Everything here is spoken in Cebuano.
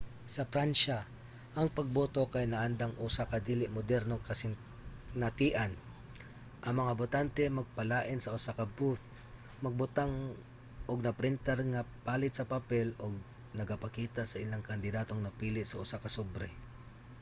sa pransya ang pagboto kay naandang usa ka dili modernong kasinatian: ang mga botante magpalain sa usa ka booth magbutang og na-printar nga palid sa papel nga nagapakita sa ilang kandidatong napili sa usa ka sobre